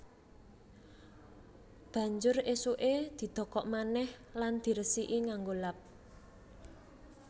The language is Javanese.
Banjur ésuké didokok manèh lan diresiki nganggo lap